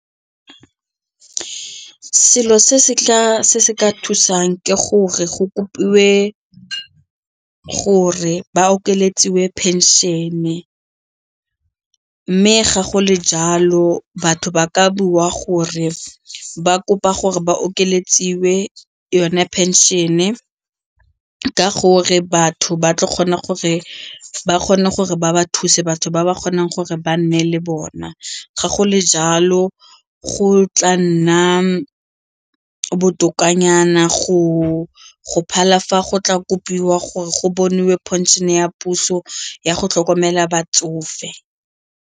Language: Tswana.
Selo se se ka thusang ke gore go kopilwe gore ba okeletsiwe pension-e mme ga go le jalo batho ba ka bua gore ba kopa gore ba okeletsiwe yone pension-e ka gore batho ba tla kgona gore ba kgone gore ba ba thuse batho ba ba kgonang gore ba nne le bona. Ga go le jalo go tla nna botokanyana go phala fa go tla kopiwa gore go boniwe pension-e ya puso ya go tlhokomela batsofe.